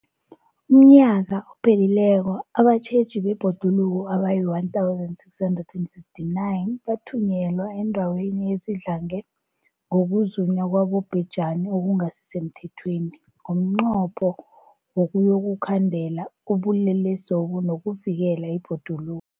UmNnyaka ophelileko abatjheji bebhoduluko abayi-1 659 bathunyelwa eendaweni ezidlange ngokuzunywa kwabobhejani okungasi semthethweni ngomnqopho wokuyokukhandela ubulelesobu nokuvikela ibhoduluko.